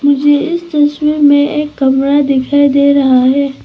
ये इस तस्वीर में एक कमरा दिखाई दे रहा है।